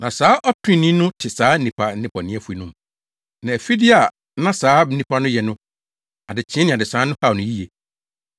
Na saa ɔtreneeni no te saa nnipa nnebɔneyɛfo no mu; na afide a na saa nnipa no yɛ no adekyee ne adesae no haw no yiye.